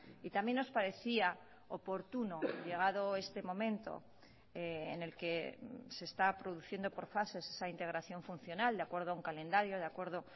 y también nos parecía oportuno llegado este momento en el que se está produciendo por fases esa integración funcional de acuerdo a un calendario de acuerdo